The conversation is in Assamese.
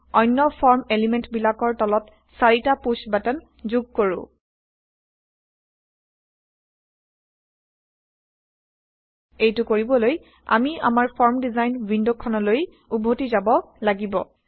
অনয় ফৰ্ম এলিমেন্টবিলাকৰ তলত চাৰিটা পুশ্ব বাটন যোগ কৰো160 এইটো কৰিবলৈ আমি আমাৰ ফৰ্ম ডিজাইন ৱিণ্ড খনলৈ উভতি যাব লাগিব